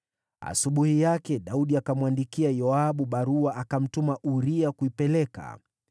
Asubuhi yake Daudi akamwandikia Yoabu barua, akamtuma Uria kuipeleka.